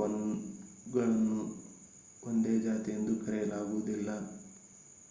ಅವುಗಳನ್ನು ಒಂದೇ ಜಾತಿ ಎಂದು ಕರೆಯಲಾಗುವುದಿಲ್ಲ